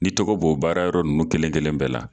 Ni tɔgɔ b'o baarayɔrɔ ninnu kelen-kelen bɛɛ la